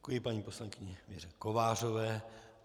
Děkuji paní poslankyni Věře Kovářové.